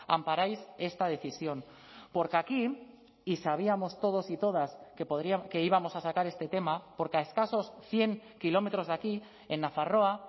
amparáis esta decisión porque aquí y sabíamos todos y todas que íbamos a sacar este tema porque a escasos cien kilómetros de aquí en nafarroa